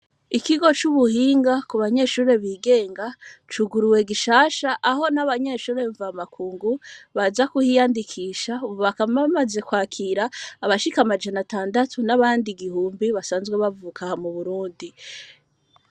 Ikigo c'ubuhinga kubanyeshure bigenga cuguruwe gishasha aho abanyeshure mvamakungu baza kuhiyandikisha bakaba bamaze kwandikisha abashika amajana atandatu n'abandi igihumbi basanzwe bavuka aha m'uburundi.